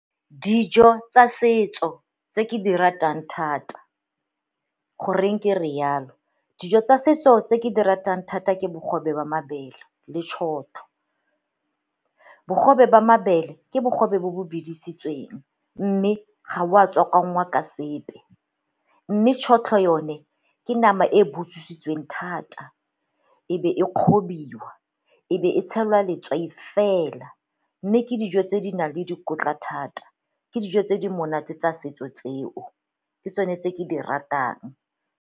Dijo tsa setso tse ke di ratang thata. Goreng ke rialo, dijo tsa setso tse ke di ratang thata ke bogobe wa mabele le tšhotlho. Bogobe ba mabele ke bogobe bo bo bidisitsweng mme ga o a tswakwanngwa ka sepe. Mme tšhotlho yone ke nama e butswisitsweng thata e e be e kgobiwa e be e tshelwa letswai fela, mme ke dijo tse di nang le dikotla thata, ke dijo tse di monate tsa setso tseo, ke tsone tse ke di ratang.